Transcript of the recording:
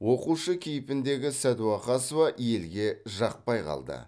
оқушы кейпіндегі сәдуақасова елге жақпай қалды